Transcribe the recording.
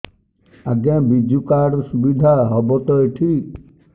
ଆଜ୍ଞା ବିଜୁ କାର୍ଡ ସୁବିଧା ହବ ତ ଏଠି